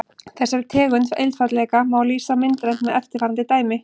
Þessari tegund einfaldleika má lýsa myndrænt með eftirfarandi dæmi.